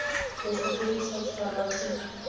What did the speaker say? boswa jo bo sa tshwaregeng